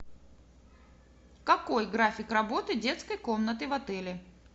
какой график работы детской комнаты в отеле